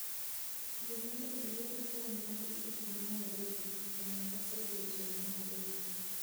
yie mondo ior fom ma tiket ma nairobi e mombasa odiechieng' ma ariyo